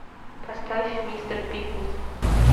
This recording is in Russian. поставь мистер пиклз